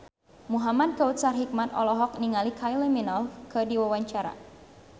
Muhamad Kautsar Hikmat olohok ningali Kylie Minogue keur diwawancara